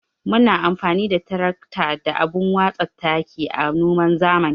Muna amfani da tirakta da abun watsa taki a noman zamani.